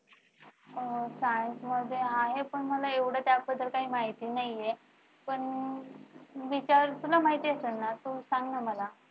अह science मध्ये आहे पण मला एवढं काही त्याबद्दल काही माहित नाहीये. पण विचार तुला माहित असेल ना तू सांग ना मला